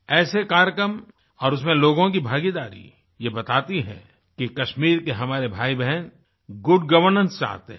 ऐसे कार्यक्रम और उसमें लोगों की भागीदारी ये बताती है कि कश्मीर के हमारे भाईबहन गुड गवर्नेंस चाहते हैं